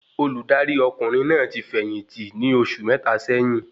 Olùdarí ọkùnrin náà ti fẹ̀yìntì ní oṣù mẹta sẹ́yín